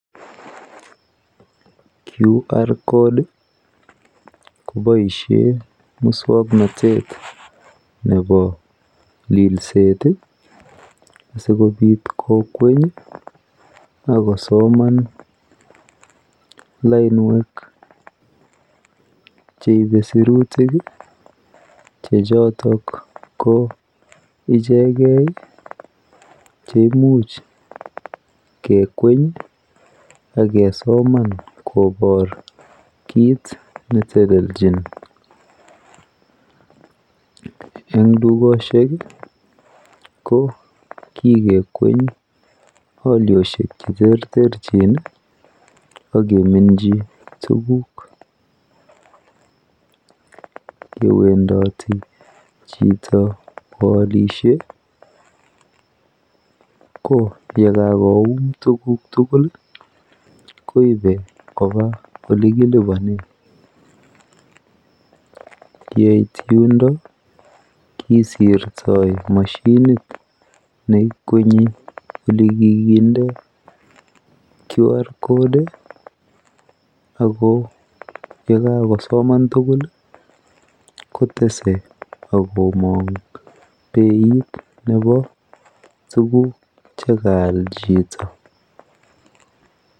QR code ko boisyen muswoknotet nebo lilset sikobit kokweny akosoman lainwek cheibe sirutik chechotok ko icheket cheimuch kekweny akesoman kobor kit netelelchin, eng dukoshek ko kikekweny alyioshek cheterterchin akeminchi tukuk , yewendati chito koalishe ko yekakoum tukuk tukul koibe koba olekilipanen, yeit yundo kisirto mashinit neikwenyi elekikinde QR code ako yekakosoman tukul kotese akomang beit nebo tukuk chekaal chito.